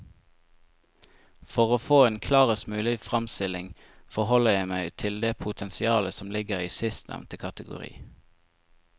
For å få en klarest mulig fremstilling forholder jeg meg til det potensialet som ligger i sistnevnte kategori.